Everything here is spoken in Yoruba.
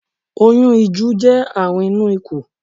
Oyún ìju jẹ́ àrùn inú ikù